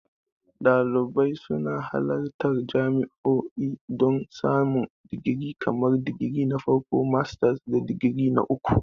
Dalibai suna halartar jami'o'i don samun digiri kamar digiri na farko, masters, da digiri na uku.